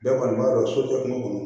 Bɛɛ kɔni b'a dɔn so tɛ kuma kɔnɔ